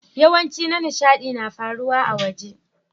Yawancin na nishadi na faruwa a'waje.